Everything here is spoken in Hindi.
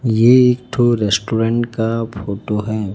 ये एक ठो रेस्टोरेंट का फोटो है।